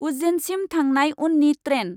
उज्जेनसिम थांनाय उननि ट्रेन।